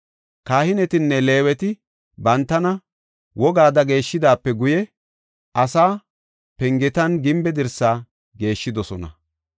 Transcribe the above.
Kahinetinne Leeweti bantana wogada geeshidaape guye asaa, pengetanne gimbe dirsaa geeshshidosona.